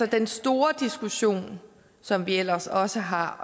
i den store diskussion som vi ellers også har